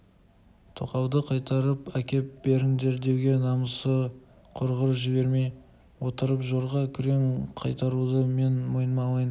тоқалды қайтарып әкеліп беріңдер деуге намысы құрғыр жібермей отырған жорға күрең қайтаруды мен мойныма алайын